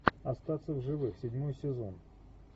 остаться в живых седьмой сезон